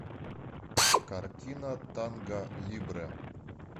картина танго либре